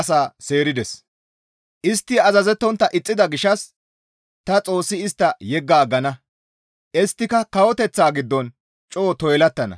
Istti azazettontta ixxida gishshas ta Xoossi istta yeggi aggana; isttika kawoteththata giddon coo toylattana.